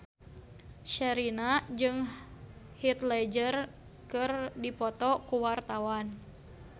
Sherina jeung Heath Ledger keur dipoto ku wartawan